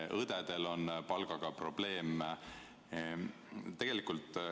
Ka õdedel on palgaga probleeme.